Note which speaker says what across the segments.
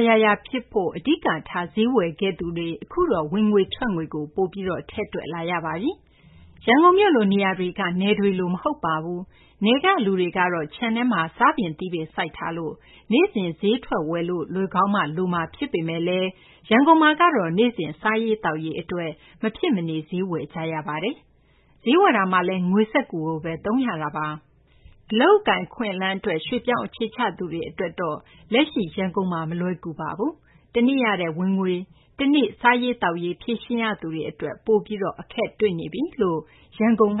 Speaker 1: ယ်ရာရာ ဖြစ်ဖို့ အဓိက ထားပြီး ဈေးဝယ်ခဲ့သူတွေ အခုတော့ ဝင်ငွေ ထွက်ငွေကို ပိုပြီး ထည့်တွက်လာရပါပြီ။ ရန်ကုန်မြို့လို နေရာက နယ်တွေလို မဟုတ်ပါဘူး။ နယ်က လူတွေကတော့ ခြံထဲမှာ စားပင် သီးပင် စိုက်ထားလို့ နေ့စဉ် ဈေးထွက်ဝယ်လို့ လိုကောင်းမှ လိုမှာ ဖြစ်ပေမယ့်လည်း ရန်ကုန်မှာကတော့ နေ့စဉ် စားရေး သောက်ရေး အတွက် မဖြစ် မနေ ဈေးဝယ်ကြရပါတယ်။ ဈေးဝယ်တာမှာလည်း ငွေစက္ကူ သုံးရတာပါ။ အလုပ်အကိုင် အခွင့်အလမ်း အတွက် ရွှေ့ပြောင်းအခြေချသူတွေ အတွက်တော့ လက်ရှိ ရန်ကုန်မှာ မလွယ်ကူလှပါဘူး။ တနေ့ရတဲ့ ဝင်ငွေကို အဲဒီနေ့ အတွက် စားရေး သောက်ရေး ဖြေရှင်းရသူတွေ အတွက် ပိုပြီး အခက်တွေ့နေပါပြီ။ WFP ရဲ့ မြ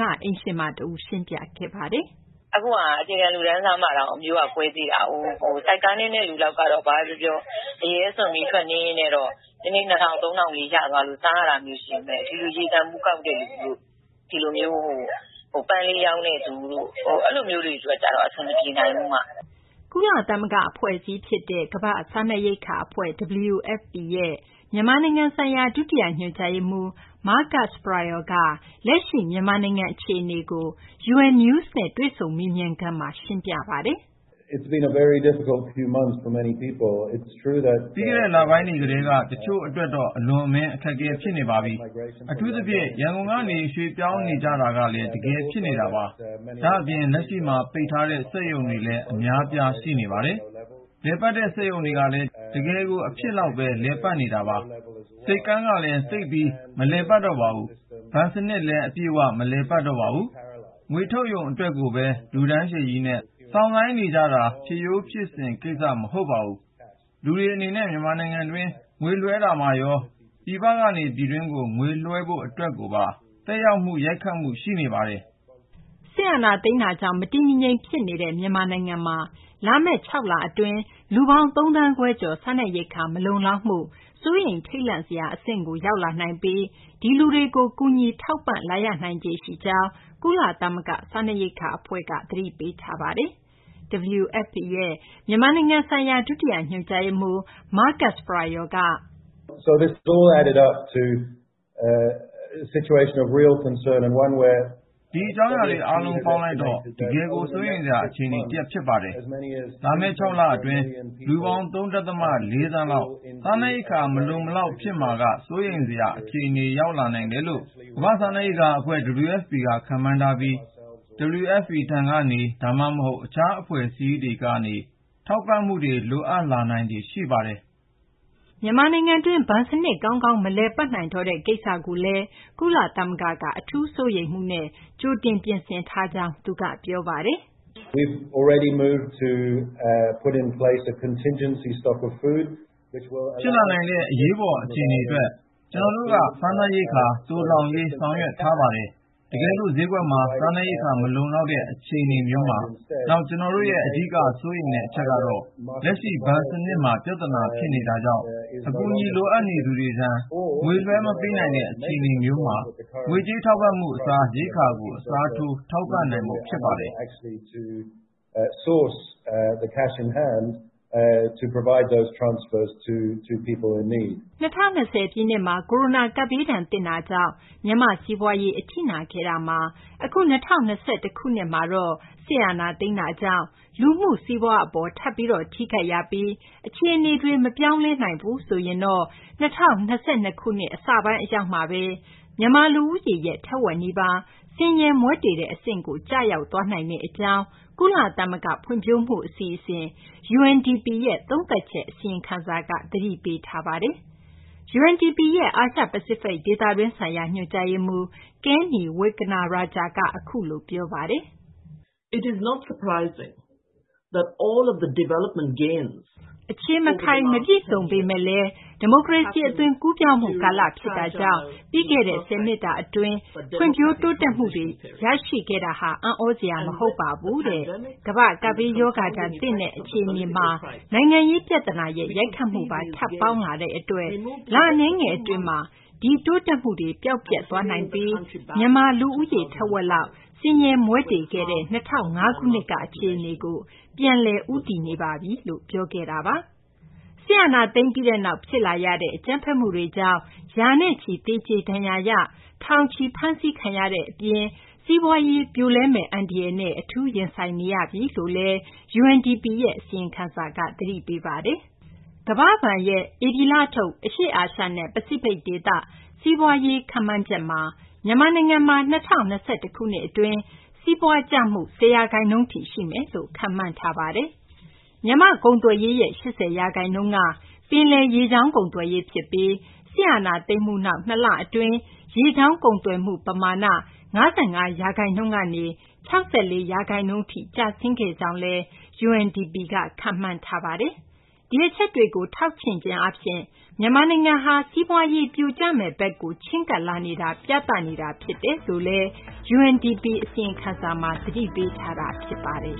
Speaker 1: န်မာနိုင်ငံဆိုင်ရာ ဒုတိယ ညွှန်ကြားရေးမှူး Marcus Prior က လက်ရှိ မြန်မာနိုင်ငံ အခြေအနေကို UN News နဲ့ တွေ့ဆုံ မေးမြန်းခန်းမှာ ရှင်းပြထားပါတယ်
Speaker 2: ။ “ ပြီးခဲ့တဲ့ လပိုင်းတွေ ကတည်းက တချို့ အတွက်တော့ အလွန်အမင်း အခက်အခဲ ဖြစ်နေပါပြီ။ အထူးသဖြင့် ရန်ကုန်ကနေ ရွှေ့ပြောင်းနေကြတာတွေကလည်း တကယ် ဖြစ်နေတာပါ။ ဒါ့အပြင်ကို လက်ရှိမှာ ပိတ်ထားတဲ့ စက်ရုံတွေလည်း အများအပြား ရှိနေပါတယ်။ လည်ပတ်တဲ့ စက်ရုံတွေကလည်း တကယ်ကို အဖြစ်လောက်ဘဲ လည်ပတ်နေတာပါ။ ဆိပ်ကမ်းကလည်း သိပ်ပြီး မလည်ပတ်တော့ပါဘူး။ ဘဏ်စနစ်လည်း အပြည့်အ၀ မလည်ပတ်တော့ပါဘူး။ ငွေထုတ်ရုံ အတွက်ကိုဘဲ လူတန်းရှည်ကြီးနဲ့ စောင့်ဆိုင်းနေရတာဟာဆိုရင် ဖြစ်ရိုးဖြစ်စဉ် ကိစ္စ မဟုတ်ပါဘူး။ လူတွေ အနေနဲ့ မြန်မာနိုင်ငံတွင်း ငွေလွှဲတာမှာရော ပြည်ပနေ ပြည်တွင်းကို ငွေလွှဲဖို့ အတွက်ကိုပါ သက်ရောက် ရိုက်ခတ်မှု ရှိနေပါတယ်။
Speaker 1: ” စစ်အာဏာသိမ်းမှုကြောင့် မတည်မငြိမ် ဖြစ်နေတဲ့ မြန်မာနိုင်ငံမှာ လာမယ့် ၆ လအတွင်း လူပေါင်း ၃ သန်းခွဲကျော် စားနပ်ရိက္ခာမလုံလောက်မှု စိုးရိမ်ထိတ်လန့်ဖွယ် အဆင့်ကို ရောက်လာနိုင်ပြီး ဒီလူတွေ အတွက် ကူညီ ထောက်ပံ့လာရနိုင်ခြေ ရှိကြောင်း ကုလသမဂ္ဂ စားနပ်ရိက္ခာအဖွဲ့ WFP က သတိပေးထားပါတယ်။ WFP ရဲ့ မြန်မာနိုင်ငံဆိုင်ရာ ဒုတိယ ညွှန်ကြားရေးမှူး Marcus Prior က “
Speaker 2: ဒီအကြောင်းအရာတွေ အားလုံးပေါင်းလိုက်တော့ တကယ်ကို စိုးရိမ်စရာ အခြေအနေ တရပ် ဖြစ်ပါတယ်။ လာမယ့် ၆ လ အတွင်းမှာ လူပေါင်း ၃ ဒသမ ၄ သန်းလောက်ဟာ စားနပ်ရိက္ခာ မလုံလောက်မှုမှာ စိုးရိမ်ဖွယ်ရာ အခြေအနေထိ ရောက်ရှိလာနိုင်တယ်လို့ ကမ္ဘာ့စားနပ်ရိက္ခာ အဖွဲ့ WFP က ခန့်မှန်းထားပြီး WFP ထံကနေ ဒါမှမဟုတ်လည်း တခြား အဖွဲ့အစည်းတွေ ထံကနေ ထောက်ပံ့မှုတွေ လိုအပ်လာနိုင်ခြေ ရှိနေပါတယ်။ ”
Speaker 1: မြန်မာနိုင်ငံတွင်း ဘဏ်စနစ် ကောင်းကောင်း မလည်ပတ်နိုင်တော့တဲ့ ကိစ္စကိုလည်း ကုလသမဂ္ဂက အထူး စိုးရိမ်မှုနဲ့ ကြိုတင် ပြင်ဆင်ထားပါတယ်လို့ သူက ပြောပါတယ်။
Speaker 2: “ ဖြစ်လာနိုင်တဲ့ အရေးပေါ် အခြေအနေ အတွက် ကျနော်တို့က စားနပ်ရိက္ခာ သိုလှောင်ရေး ဆောင်ရွက်ထားပါပြီ။ တကယ်လို့ ဈေးကွက်မှာ စားနပ်ရိက္ခာ မလုံလောက်တဲ့ အခြေအနေမျိုးမှာ - နောက် ကျနော်တို့ရဲ့ အဓိက စိုးရိမ်တဲ့ အချက်ကတော့ လက်ရှိ ဘဏ်စနစ်မှာ ပြသနာ ဖြစ်နေတာကြောင့် အကူအညီ လိုအပ်နေသူတွေထံ ငွေ လွှဲမပေးနိုင်တဲ့ အခြေအနေမျိုးမှာ ငွေကြေး ထောက်ပံ့မှု အစား ရိက္ခာကို အစားထိုး ထောက်ပံ့နိုင်ဖို့ ဖြစ်ပါတယ်။” ၂၀၂၀ ပ
Speaker 1: ြည့်နှစ်မှာ ကိုရိုနာကပ်ဘေးဒဏ် သင့်တာကြောင့် မြန်မာ့ စီးပွားရေး အထိနာခဲ့တာမှာ အခု ၂၀၂၁ ခုနှစ် အတွင်း စစ်အာဏာသိမ်းမှုကြောင့် လူမှု စီးပွား အပေါ် ထပ်ပြီး ထိခိုက်ရပြီး အခြေအနေတွေ မပြောင်းလဲဘူးဆိုရင်တော့ ၂၀၂၂ ခုနှစ် အစပိုင်း အရောက်မှာ မြန်မာ လူဦးရေရဲ့ ထက်ဝက်နီးပါး ဆင်းရဲမွဲတေတဲ့ အဆင့်ကို ရောက်သွားနိုင်ကြောင်း ကုလသမဂ္ဂ ဖွံ့ဖြိုးမှု အစီအစဉ် UNDP ရဲ့ သုံးသပ်ချက် အစီရင်ခံစာက ဖော်ပြပါတယ်။ UNDP ရဲ့ အာရှ ပစိဖိတ် ဒေသတွင်းဆိုင်ရာ ညွှန်ကြားရေးမှူး Kanni Wignaraja က အခုလို ပြောပါတယ်။ “ အခြေမခိုင်၊ မပြည့်စုံပေမယ့်လည်း ဒီမိုကရေစီ အသွင်ကူးပြောင်းမှု ကာလ ဖြစ်တာကြောင့် ပြီးခဲ့တဲ့ ၁၀ နှစ်တာ အတွင်းမှာ ဒီဖွံ့ဖြိုးတိုးတက်မှုတွေ အားလုံး ရခဲ့တာဟာ အံ့သြစရာ မဟုတ်ပါဘူး။ ကမ္ဘာ့ ကပ်ဘေးရောဂါဒဏ်သင့်တာမှာ နိုင်ငံရေး ပြသနာရဲ့ ရိုက်ခတ်မှုပါ ထပ်ပေါင်းလာတဲ့ အတွက် လ အနည်းငယ် အတွင်းမှာ ဒီ တိုးတက်မှုတွေ ပျောက်ပျက် သွားနိုင်ပြီး မြန်မာ လူဦးရေ ထက်ဝက်လောက် ဆင်းရဲမွဲတေခဲ့တဲ့ ၂၀၀၅ ခုနှစ်က အခြေအနေကို ပြန်လည် ဦးတည်နေပါတယ်။ ” စစ်အာဏာသိမ်းပြီးနောက် ဖြစ်လာရတဲ့ အကြမ်းဖက်မှုတွေကြောင့် ရာနဲ့ချီ သေကြေ ဒဏ်ရာရ၊ ထောင်ချီ ဖမ်းဆီးခံရတဲ့ အပြင် စီးပွားရေး ပြိုလဲမယ့် အန္တရာယ်နဲ့ အထူး ရင်ဆိုင်နေရပြီလို့ UNDP အစီရင်ခံစာက သတိပေးထားပါတယ်။ ကမ္ဘာ့ဘဏ်ရဲ့ ဧပြီလထုတ် အရှေ့အာရှနဲ့ ပစိဖိတ် ဒေသ စီးပွားရေးရာ ခန့်မှန်းချက်မှာ မြန်မာနိုင်ငံမှာ ၂၀၂၁ ခုနှစ် အတွင်း စီးပွားကျမှု ၁၀ ရာခိုင်နှုန်းထိ ရှိမယ်လို့ ခန့်မှန်းထားပါတယ်။ မြန်မာ့ ကုန်သွယ်ရေးရဲ့ ၈၀ ရာခိုင်နှုန်းက ပင်လယ်ရေကြောင်း ကုန်သွယ်ရေး ဖြစ်ပြီး စစ်အာဏာသိမ်းမှု နောက် ၂ လ အတွင်း ရေကြောင်း ကုန်သွယ်မှု ပမာဏ ၅၅ ရာခိုင်နှုန်းကနေ ၆၄ ရာခိုင်နှုန်း အထိ ကျဆင်ခဲ့ကြောင်းလည်း UNDP ကခန့်မှန်းထားပါတယ်။ ဒီအချက်တွေကို ထောက်ချင့်ခြင်း အားဖြင့် မြန်မာနိုင်ငံဟာ စီးပွားရေး ပြိုကျမယ့်ဘက်ကို ချဉ်းကပ်လာနေတာကို ပြသနေတာ ဖြစ်တယ်လို့လည်း UNDP က အစီရင်ခံစာမှာ သတိပေးထားတာ ဖြစ်ပါတယ
Speaker 2: ်